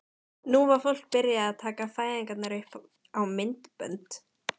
Nú var fólk byrjað að taka fæðingar upp á myndbönd.